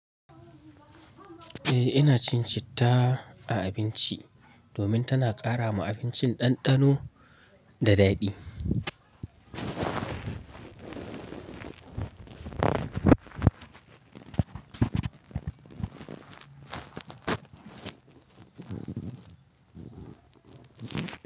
Eh ina cin citta a abinci domin tana ƙara ma abincin ɗanɗano da daɗi.